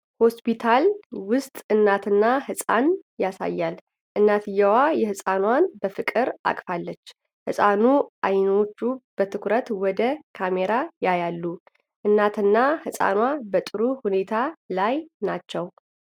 ሆስፒታል ውስጥ እናትና ሕፃን ያሳያል። እናትየው ሕፃኗን በፍቅር አቅፋለች። የሕፃኑ አይኖች በትኩረት ወደ ካሜራ ያያሉ። እናትና ሕፃኗ በጥሩ ሁኔታ ላይ ናቸው?